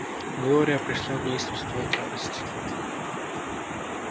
глория пришла в неистовство от радости